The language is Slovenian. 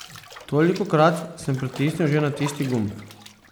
Tolikokrat sem pritisnil že na tisti gumb.